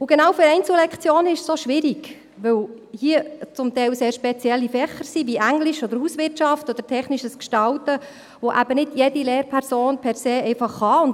Und genau für Einzellektionen ist es auch schwierig, weil es hier zum Teil sehr spezielle Fächer wie Englisch, Hauswirtschaft oder technisches Gestalten sind, die eben nicht jede Lehrperson einfach unterrichten kann.